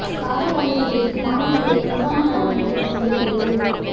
காதல் வலையில் வீழ்த்தி மாணவிகளை நிர்வாண படம் எடுத்த கும்பல் கைது